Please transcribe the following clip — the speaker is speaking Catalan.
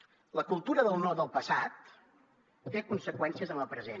la cultura del no del passat té conseqüències en el present